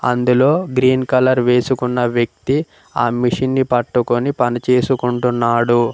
అందులో green colour వేసుకున్న వ్యక్తి ఆ మిషన్ ని పట్టుకొని పని చేసుకుంటున్నాడు.